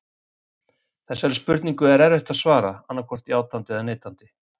Þessari spurningu er erfitt að svara annaðhvort játandi eða neitandi.